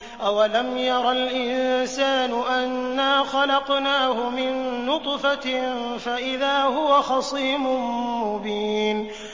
أَوَلَمْ يَرَ الْإِنسَانُ أَنَّا خَلَقْنَاهُ مِن نُّطْفَةٍ فَإِذَا هُوَ خَصِيمٌ مُّبِينٌ